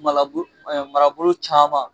Marabolo caman